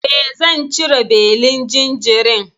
E, zan cire belin jinjirin.